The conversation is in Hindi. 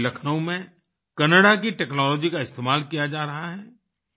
वहीं लखनऊ में कैनाडा की टेक्नोलॉजी का इस्तेमाल किया जा रहा है